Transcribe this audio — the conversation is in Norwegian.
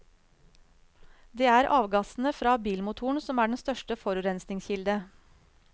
Det er avgassene fra bilmotoren som er den største forurensningskilde.